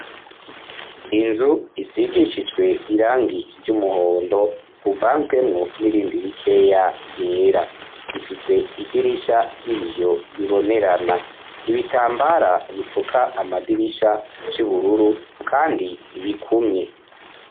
Inzu isigishijwe irangi ry'umuhondo uvanzwemwo n'irindi rikeya ryera ifise idirisha ry'ibiyo bibonerana ibitambara bipfuka amadirisha vy'ubururu, kandi ibikumye.